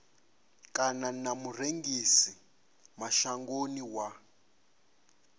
kana na murengisi mashangoni wa